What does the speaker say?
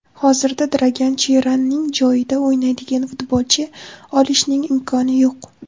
Hozirda Dragan Cheranning joyida o‘ynaydigan futbolchi olishning imkoni yo‘q.